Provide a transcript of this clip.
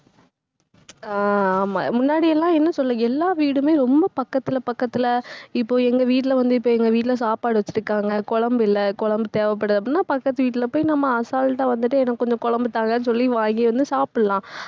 அஹ் ஆமா முன்னாடி எல்லாம் என்ன சொல்ல எல்லா வீடுமே ரொம்ப பக்கத்துல பக்கத்துல இப்போ எங்க வீட்டுல வந்து இப்ப எங்க வீட்டுல சாப்பாடு வச்சிருக்காங்க குழம்பு இல்ல குழம்பு தேவைப்படுது அப்படின்னாபக்கத்து வீட்ல போய் நம்ம assault ஆ வந்துட்டு எனக்கு கொஞ்சம் குழம்பு தாங்கன்னு சொல்லி வாங்கி வந்து சாப்பிடலாம்.